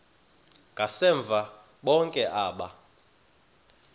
ngasemva bonke aba